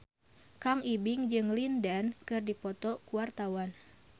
Kang Ibing jeung Lin Dan keur dipoto ku wartawan